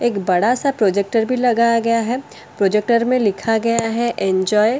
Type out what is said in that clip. एक बड़ा सा प्रोजेक्टर भी लगाया गया है प्रोजेक्टर में लिखा गया है एंजॉय --